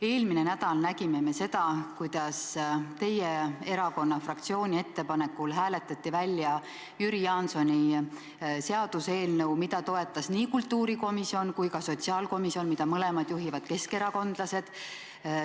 Eelmine nädal nägime me seda, kuidas teie erakonna fraktsiooni ettepanekul hääletati välja Jüri Jaansoni seaduseelnõu, mida toetasid nii kultuurikomisjon kui ka sotsiaalkomisjon, mida mõlemat juhivad keskerakondlased.